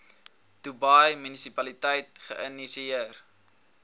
dubai munisipaliteit geïnisieer